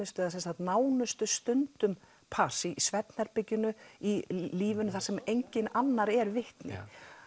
að nánustu stundum pars í svefnherberginu í lífinu þar sem enginn annar er vitni